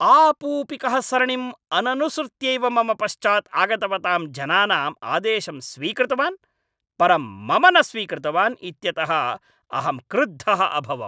आपूपिकः सरणिम् अननुसृत्यैव मम पश्चात् आगतवतां जनानां आदेशं स्वीकृतवान् परं मम न स्वीकृतवान् इत्यतः अहम् क्रुद्धः अभवम् ।